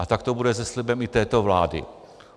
A tak to bude se slibem i této vlády.